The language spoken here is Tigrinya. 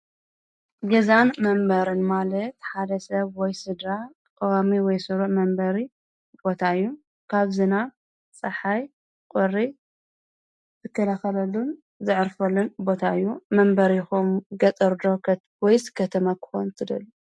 ገዛን መንበሪን ማለት ሓደ ሰብ ወይ ስድራ ቀዋሚ ወይ ስሩዕ መንበሪ ቦታ እዪ ካብ ዝናብ ፀሐይ ቁሪ ንከላከለሉን ዘዕርፈሉ ቦታ እዪ ። መንበሪኹም ገጠር ዶ ወይስ ከተማ ክኾን ትደልዪ ?